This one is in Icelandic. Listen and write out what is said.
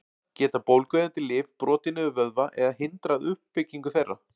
Geta bólgueyðandi lyf brotið niður vöðva eða hindrað uppbyggingu þeirra?